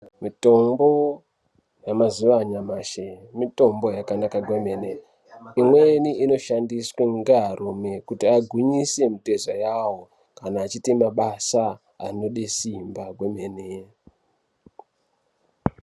Mitombo yamazuva anyamashi mitombo yalanaka kwemene imweni inoshandiswa ngearume kuti agwinyise mitezo yawo kana achiite mabasa anode simba kwemene.